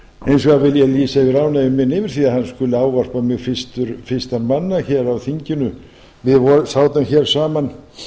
hins vegar vil ég lýsa yfir ánægju minni yfir því að hann skuli ávarpa mig fyrstan manna hér á þinginu við sátum hér saman